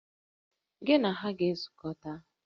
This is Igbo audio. Gị na ha ga-ezukọta!